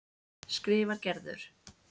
skrifar Gerður.